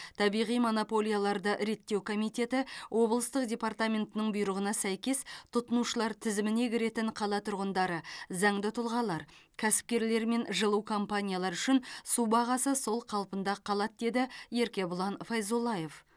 табиғи монополияларды реттеу комитеті облыстық департаментінің бұйрығына сәйкес тұтынушылар тізіміне кіретін қала тұрғындары заңды тұлғалар кәсіпкерлер мен жылу компаниялары үшін су бағасы сол қалпында қалады деді еркебұлан файзуллаев